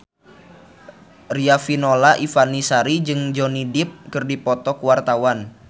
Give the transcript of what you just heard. Riafinola Ifani Sari jeung Johnny Depp keur dipoto ku wartawan